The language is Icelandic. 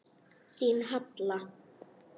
Þín, Halla.